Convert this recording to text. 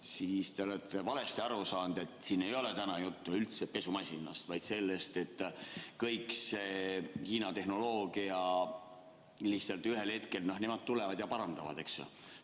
Aga ütlen, et te olete valesti aru saanud, siin ei ole täna juttu üldse pesumasinast, vaid sellest, et kogu see Hiina tehnoloogia – lihtsalt ühel hetkel nemad tulevad ja parandavad, eks ju.